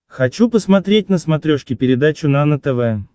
хочу посмотреть на смотрешке передачу нано тв